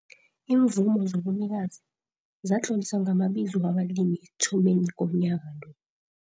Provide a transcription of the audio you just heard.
Iimvumo zobunikazi zatloliswa ngamabizo wabalimi ekuthomeni komnyaka lo.